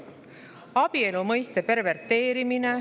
Abielu mõiste perverteerimine …